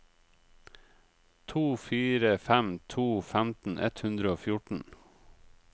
to fire fem to femten ett hundre og fjorten